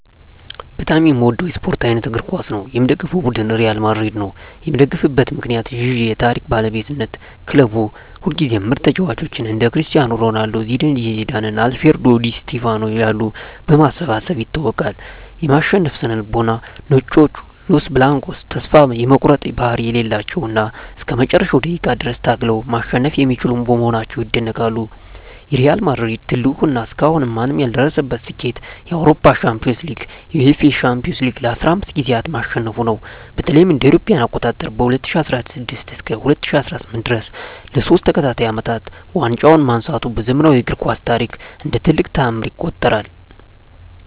በጣም የምወደው የስፓርት አይነት እግር ኳስ ነው። የምደግፈው ቡድን ሪያል ማድሪድ ነው። የምደግፍበት ምክንያት ዠ የታሪክ ባለቤትነት ክለቡ ሁልጊዜም ምርጥ ተጫዋቾችን (እንደ ክርስቲያኖ ሮናልዶ፣ ዚነዲን ዚዳን እና አልፍሬዶ ዲ ስቲፋኖ ያሉ) በማሰባሰብ ይታወቃል። የማሸነፍ ስነ-ልቦና "ነጮቹ" (Los Blancos) ተስፋ የመቁረጥ ባህሪ የሌላቸው እና እስከ መጨረሻው ደቂቃ ድረስ ታግለው ማሸነፍ የሚችሉ በመሆናቸው ይደነቃሉ። የሪያል ማድሪድ ትልቁ እና እስካሁን ማንም ያልደረሰበት ስኬት የአውሮፓ ሻምፒዮንስ ሊግን (UEFA Champions League) ለ15 ጊዜያት ማሸነፉ ነው። በተለይም እ.ኤ.አ. ከ2016 እስከ 2018 ድረስ ለሶስት ተከታታይ አመታት ዋንጫውን ማንሳቱ በዘመናዊው እግር ኳስ ታሪክ እንደ ትልቅ ተአምር ይቆጠራል።